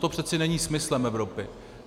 To přece není smyslem Evropy.